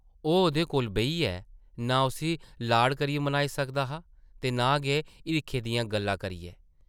ओह् ओह्दे कोल बेहियै नां उस्सी लाड करियै मनाई सकदा हा ते नां गै हिरखै दियां गल्लां करियै ।